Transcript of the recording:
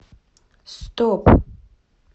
стоп